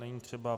Není třeba.